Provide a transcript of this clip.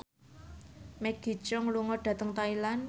Maggie Cheung lunga dhateng Thailand